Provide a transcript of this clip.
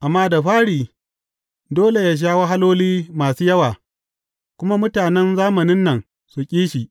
Amma da fari, dole yă sha wahaloli masu yawa, kuma mutanen zamanin nan su ƙi shi.